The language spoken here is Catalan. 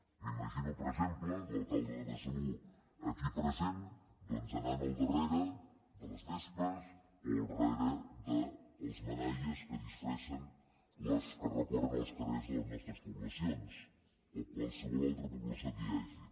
m’imagino per exemple l’alcalde de besalú aquí present doncs anant al darrere de les vespes o al darrere dels manaies que es disfressen que recorren els carrers de les nostres poblacions o qualsevol altra població que hi hagi